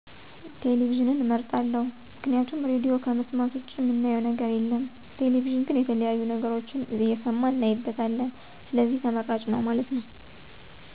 ቴሌቪዥንን አመርጣለሁ፦ ምክንያቱም ራድዮ ከመሥማት ውጭ ምናየው ነገር የለም ቴሌቪዥን ግን የተለያዬ ነገሮችን እሠማን እናይበታለን ስለዚህ ተመራጭ ነው ማለት ነው።